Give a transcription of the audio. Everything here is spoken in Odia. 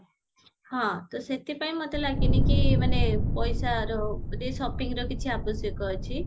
ହଁ ତ ସେଥିପାଇଁ ମତେ ଲଗେନି କି ମାନେ ପଇସାର ଗୋଟେ shoppingର କିଛି ଆବଶ୍ୟକ ଅଛି